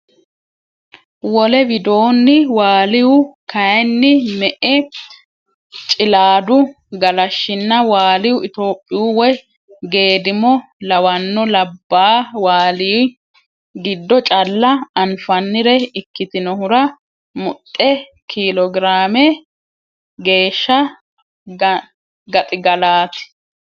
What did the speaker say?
Wole widoonni Waaliyu kayinni me e Cilaadu Galashshinna Waaliyu Itophiyu woy geedimo lawanno labbaa Waaliy giddo calla anfannire ikkitinohura muxxe kiilogiraame geeshsha gaxigallaati.